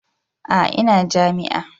A'a ina jami'a.